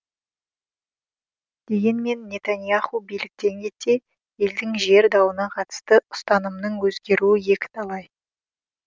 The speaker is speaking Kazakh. дегенмен нетаньяху биліктен кетсе елдің жер дауына қатысты ұстанымының өзгеруі екіталай